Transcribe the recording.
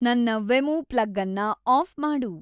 ನನ್ನ ವೆಮೂ ಪ್ಲಗ್ಅನ್ನ ಆಫ್ ಮಾಡು